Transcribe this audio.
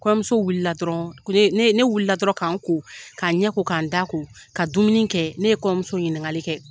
Kɔɲɔmuso wulila dɔrɔn ne , ne wulila dɔrɔn ka n ko ka n ɲɛ ko , k'a n da ko ka dumuni kɛ ne ye kɔɲɔmuso ɲininkakali kɛ.